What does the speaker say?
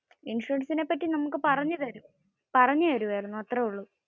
ഇൻഷുറൻസിന്റെ പറ്റി നമുക്ക് പറഞ്ഞു തെരുവായിരുന്നു. അത്രേ ഉള്ളു